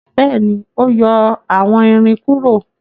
béèni o yọ àwón ìrìn kúrò.